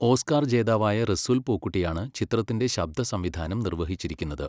Oscar ജേതാവായ റസൂൽ പൂക്കുട്ടിയാണ് ചിത്രത്തിൻ്റെ ശബ്ദസംവിധാനം നിർവഹിച്ചിരിക്കുന്നത്.